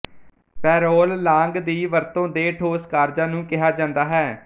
parole langue ਦੀ ਵਰਤੋਂ ਦੇ ਠੋਸ ਕਾਰਜਾਂ ਨੂੰ ਕਿਹਾ ਜਾਂਦਾ ਹੈ